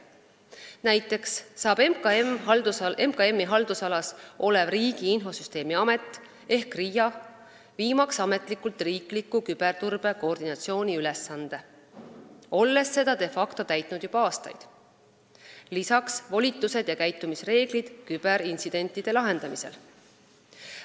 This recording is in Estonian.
Näiteks saab MKM-i haldusalas olev Riigi Infosüsteemi Amet ehk RIA viimaks ametlikult riikliku küberturbe koordinatsiooni ülesande, olles seda de facto täitnud juba aastaid, lisaks volitused ja käitumisreeglid küberintsidentide lahendamisel.